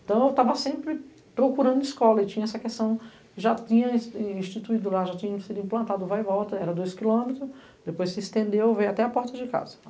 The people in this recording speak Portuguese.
Então eu estava sempre procurando escola e tinha essa questão, já tinha instituído lá, já tinha sido implantado vai e volta, era dois quilômetros, depois se estendeu, veio até a porta de casa.